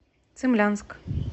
цимлянск